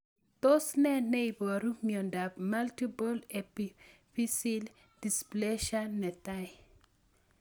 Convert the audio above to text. Tos nee neiparu miondop Multiple epiphyseal dysplasia 1?